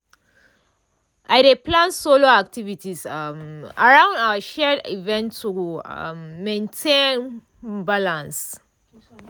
i dey plan solo activities um around our shared events to um maintain um balance.